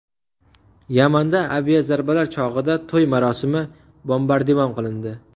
Yamanda aviazarbalar chog‘ida to‘y marosimi bombardimon qilindi.